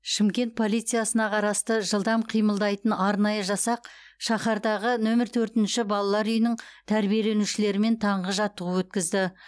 шымкент полициясына қарасты жылдам қимылдайтын арнайы жасақ шаһардағы нөмір төртінші балалар үйінің тәрбиеленушілерімен таңғы жаттығу өткізді